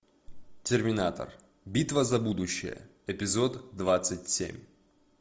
терминатор битва за будущее эпизод двадцать семь